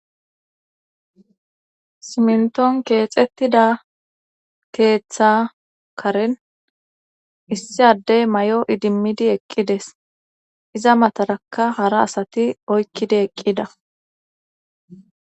simnton keexettida keeththa karen issi addey mayo idimmidi eqqides iza mataraka hara asati oykkidi eqqida